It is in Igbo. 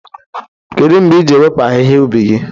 Kedu mgbe ị ga-ewepụ ahịhịa ubi gị?